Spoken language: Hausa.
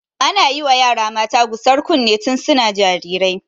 Ana yiwa yara mata gusar kunne tun suna jarirai.